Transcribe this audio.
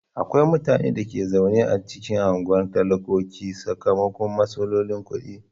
Akwai mutanen da ke zaune a cikin unguwar talakoki sakamakon matsalolin kudi.